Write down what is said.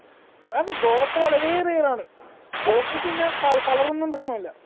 അതെ കോവക്ക വളരെ rare ആണ് കോവക്കക്ക് പിന്നെ കള color ഒന്നും പ്രശ്നമില്ല